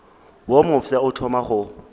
wo mofsa o thoma go